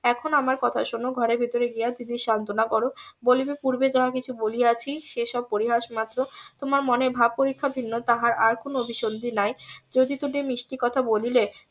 এখন আমার কথা শোনো ঘরের ভিতরে গিয়া দিদির সান্তনা করো বলিবে পূর্বে যাহা কিছু বলিয়াছি সে সব পরিহাস মাত্র তোমার মনের ভাব পরীক্ষা ভিন্ন তাহার মনে আর কোনো অভিসন্ধি নাই যদি দুটি মিষ্টি কথা বলিলে